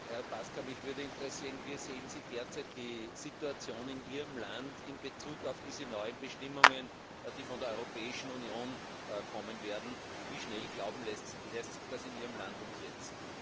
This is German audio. Herr Paška, mich würde interessieren, wie Sie derzeit die Situation in Ihrem Land in Bezug auf diese neuen Bestimmungen, die von der Europäischen Union kommen werden, sehen. Wie schnell lässt sich das in Ihrem Land umsetzen?